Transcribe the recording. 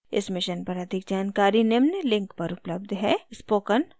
इस mission पर अधिक जानकारी निम्न लिंक पर उपलब्ध है